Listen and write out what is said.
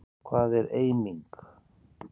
Hvað er eiming?